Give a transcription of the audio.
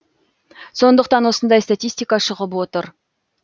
сондықтан осындай статистика шығып отыр